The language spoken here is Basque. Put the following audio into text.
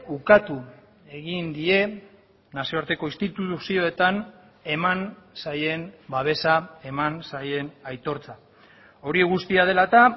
ukatu egin die nazioarteko instituzioetan eman zaien babesa eman zaien aitortza hori guztia dela eta